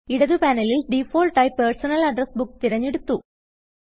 ഇടതു പാനലിൽ ഡിഫാൾട്ട് ആയി പേഴ്സണൽ അഡ്രസ് ബുക്ക് തിരഞ്ഞെടുത്തു